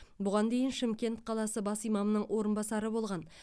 бұған дейін шымкент қаласы бас имамының орынбасары болған